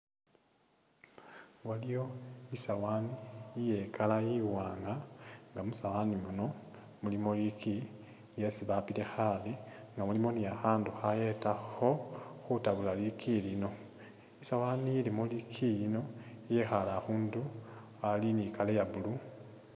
Waliyo isawaani iye i'color iwanga nga musawaani muno mulimo liiki lyesi bapile khaale nga mulimo ne khakhandu akhayetakho khutabula liiki lino, isawaani ilimo liiiki lino yekhaale akhundu ali ne i'color iye blue.